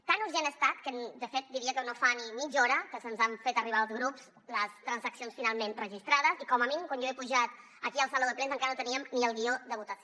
tan urgent ha estat que de fet diria que no fa ni mitja hora que se’ns han fet arribar als grups les transaccions finalment registrades i com a mínim quan jo he pujat aquí al saló de plens encara no teníem ni el guió de votació